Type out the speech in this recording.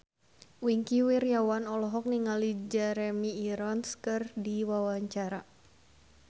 Wingky Wiryawan olohok ningali Jeremy Irons keur diwawancara